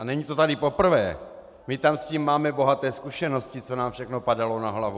A není to tady poprvé, my tam s tím máme bohaté zkušenosti, co nám všechno padalo na hlavu.